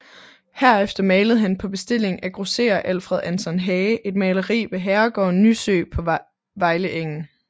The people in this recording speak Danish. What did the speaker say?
Herefter malede han på bestilling af grosserer Alfred Anton Hage et maleri ved herregården Nysø på Vejleegnen